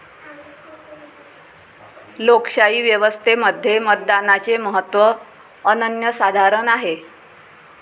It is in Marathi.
लोकशाही व्यवस्थेमध्ये मतदानाचे महत्त्व अनन्यसाधारण आहे.